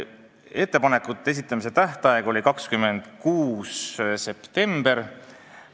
Ettepanekute esitamise tähtaeg oli 26. september.